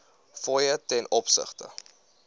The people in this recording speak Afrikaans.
fooie ten opsigte